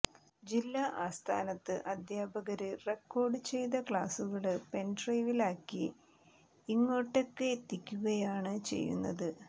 ജില്ലാ ആസ്ഥാനത്ത് അധ്യാപകര് റെക്കോര്ഡ് ചെയ്ത ക്ലാസുകള് പെന്ഡ്രൈവിലാക്കി ഇങ്ങോട്ടേക്കെത്തിക്കുകയാണ് ചെയ്യുന്നത്